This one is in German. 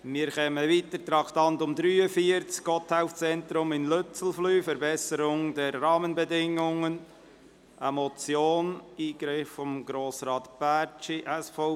Wir kommen zum Traktandum 43, der Motion «Gotthelf-Zentrum im Lützelflüh – Verbesserung der Rahmenbedingungen», eingereicht von Grossrat Bärtschi, SVP.